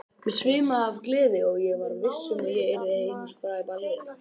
Mig svimaði af gleði og ég var viss um að ég yrði heimsfræg ballerína.